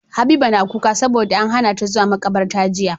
Habiba na kuka sabo da an hana ta zuwa makabarta jiya